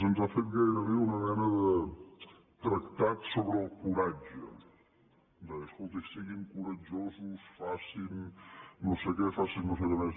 ens ha fet gairebé una mena de tractat sobre el coratge deia escolti siguin coratjosos facin no sé què facin nosé què més